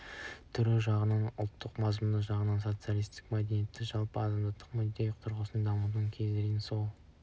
түрі жағынан ұлттық мазмұны жағынан социалистік мәдениетті жалпы адамзаттық мүдде тұрғысынан дамытуды көздейді жол берсе